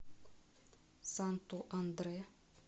санту андре